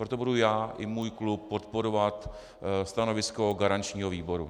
Proto budu já i můj klub podporovat stanovisko garančního výboru.